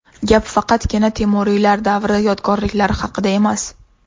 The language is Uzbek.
Gap faqatgina Temuriylar davri yodgorliklari haqida emas.